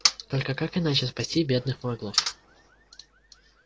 только как иначе спасти бедных маглов